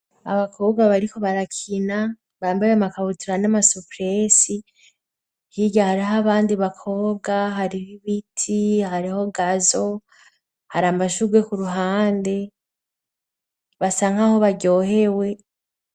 Abakobwa bariko barakina, bambaye amakabutira n'amasupresi hirya hariho abandi bakobwa hariho ibiti, hariho gazo, hari amashurwe ku ruhande basa nkaho baryohewe.